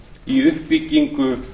í uppbyggingu